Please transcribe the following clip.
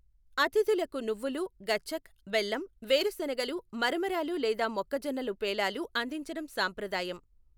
అతిథులకు నువ్వులు, గచ్చక్, బెల్లం, వేరుశెనగలు, మరమరాలు లేదా మొక్కజొన్నలు పేలాలు అందించడం సాంప్రదాయం.